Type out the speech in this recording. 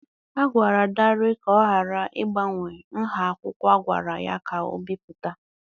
A gwara Dare ka ọ ghara ịgbanwe nha akwụkwọ a gwara ya ka o bipụta.